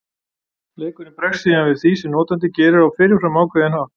Leikurinn bregst síðan við því sem notandinn gerir á fyrirfram ákveðinn hátt.